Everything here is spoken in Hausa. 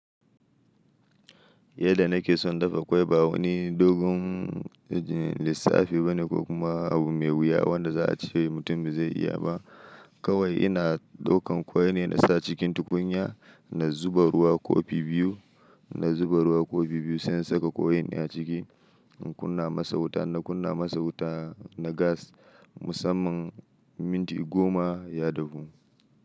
Yadda nake son dafa kwai ba wani dogon lissafi bane ko kuma abu mai wuya wanda za a ce mutum ba zai iya ba. Kawai ina ɗaukan kwai ne na sa cikin tukunya, na zuba ruwa kofi biyu, na zuba ruwa kofi biyu, sai in saka kwai in a ciki. In kunna masa wuta, in na kunna masa wuta na gas musamman minti goma ya dahu.